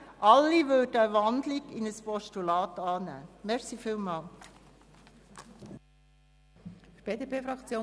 Alle würden eine Wandlung in ein Postulat annehmen.